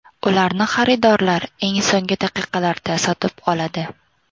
Ularni xaridorlar eng so‘nggi daqiqalarda sotib oladi.